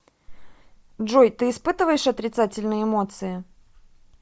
джой ты испытываешь отрицательные эмоции